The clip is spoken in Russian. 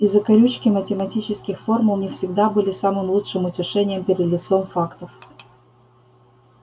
и закорючки математических формул не всегда были самым лучшим утешением перед лицом фактов